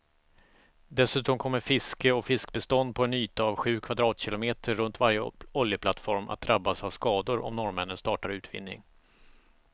Dessutom kommer fiske och fiskbestånd på en yta av sju kvadratkilometer runt varje oljeplattform att drabbas av skador om norrmännen startar utvinning.